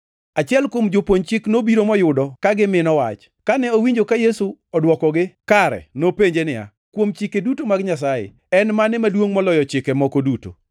Achiel kuom jopuonj chik nobiro moyudo ka gimino wach. Kane owinjo ka Yesu odwokogi kare, nopenje niya, “Kuom Chike duto mag Nyasaye, en mane maduongʼ moloyo chike moko duto?”